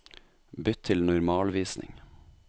Bytt til normalvisning